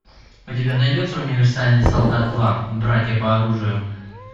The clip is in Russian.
у тебя найдется универсальный солдат два братья по оружию